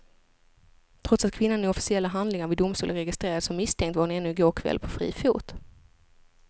Trots att kvinnan i officiella handlingar vid domstol är registrerad som misstänkt var hon ännu i går kväll på fri fot.